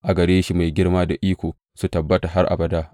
A gare shi girma da iko su tabbata har abada.